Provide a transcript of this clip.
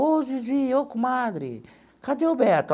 Ô Zizi, ô comadre, cadê o Beto?